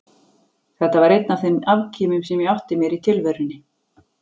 Þetta var einn af þeim afkimum sem ég átti mér í tilverunni.